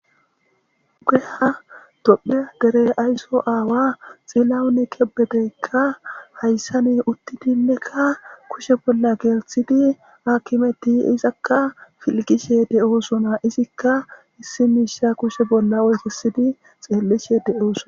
Tophiye dere asyso aawa xilawon kebedeyka haysan uttidinneka kushe bolla gelthid akimeti izaka izzaka piligishe de'osona ha izzika issi Misha kushe bolla wothisidi xelishe de'osona